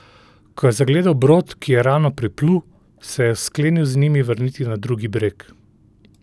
Ko je zagledal brod, ki je ravno priplul, se je sklenil z njim vrniti na drugi breg.